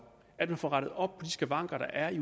at man får rettet op på de skavanker der er